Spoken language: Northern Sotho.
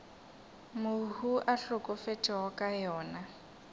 mohu a hlokafetšego ka yona